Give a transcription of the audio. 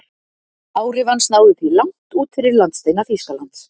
Áhrif hans náðu því langt út fyrir landsteina Þýskalands.